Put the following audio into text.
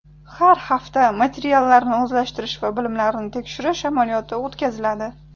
Har hafta materiallarni o‘zlashtirish va bilimlarni tekshirish amaliyoti o‘tkaziladi.